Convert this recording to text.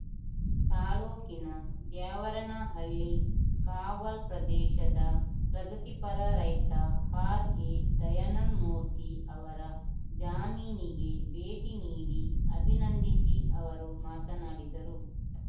ತಾಲೂಕಿನ ದ್ಯಾವರನಹಳ್ಳಿ ಕಾವಲ್‌ ಪ್ರದೇಶದ ಪ್ರಗತಿಪರ ರೈತ ಆರ್‌ಎದಯಾನಂದ್ ಮೂರ್ತಿ ಅವರ ಜಮೀನಿಗೆ ಭೇಟಿ ನೀಡಿ ಅಭಿನಂದಿಸಿ ಅವರು ಮಾತನಾಡಿದರು